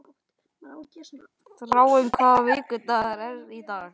Þráinn, hvaða vikudagur er í dag?